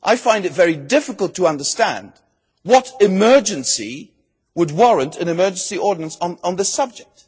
I find it very difficult to understand what emergency would warrant an emergency ordinance on this subject.